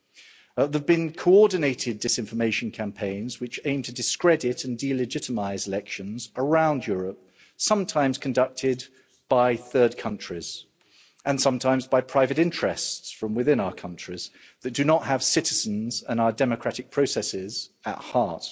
There have been coordinated disinformation campaigns which aimed to discredit and delegitimise elections around Europe, sometimes conducted by third countries and sometimes by private interests from within our countries that do not have citizens and our democratic processes at heart.